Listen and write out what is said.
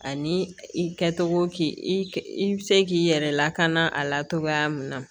Ani i kɛcogo k'i i bɛ se k'i yɛrɛ lakana a la cogoya min na